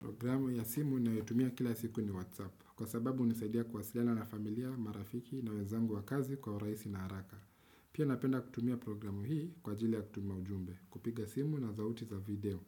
Programu ya simu nayoitumia kila siku ni Whatsapp kwa sababu hunisaidia kuwasiliana na familia, marafiki na wezangu wa kazi kwa uraisi na haraka. Pia napenda kutumia programu hii kwa jili ya kutuma ujumbe, kupiga simu na zauti za video